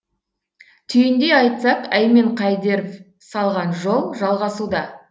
түйіндей айтсақ әмен қайдеров салған жол жалғасуда